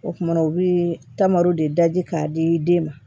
O kumana u bɛ tamaro de daji k'a di den ma